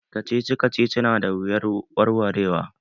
Kacici kacici na da wuyar warwarewa.